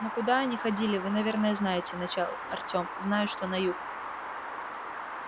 ну куда они ходили вы наверное знаете начал артём знаю что на юг